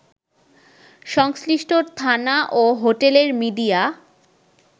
সংশ্লিষ্ট থানা ও হোটেলের মিডিয়া